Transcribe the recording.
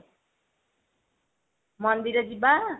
ମନ୍ଦିର ଯିବା?